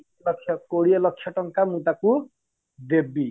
ଲକ୍ଷ କୋଡିଏ ଲକ୍ଷ ଟଙ୍କା ମୁଁ ତାକୁ ଦେବି